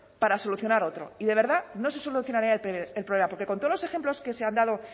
para solucionar otro y de verdad no se solucionaría el problema porque con todos los ejemplos que se han dado